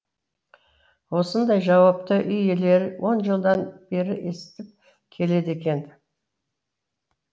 осындай жауапты үй иелері он жылдан бері естіп келеді екен